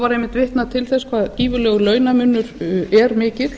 var einmitt vitnað til þess hvað gífurlegur launamunur er mikill